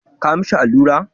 Ka mishi allura.